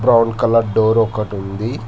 Brown colour door ఒకటి కన్ ఉంది.